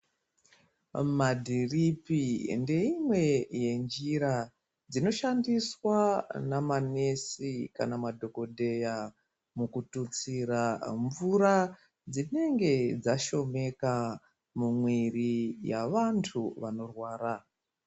Madhiripi ngeimwe yenjira inoshandiswa nemadhokotera mukututsira mvura inenge yashomeka mumwiri yevantu vanorwara